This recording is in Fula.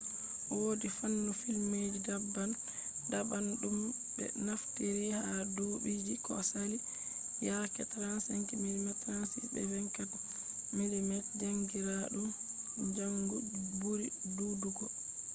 wodi fannu filmji daban-daban dum be naftiri ha dubiiji ko sali. yaake 35 mm 36 be 24 mm jankiraadum kanju buri dudugo